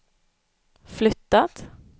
flyttat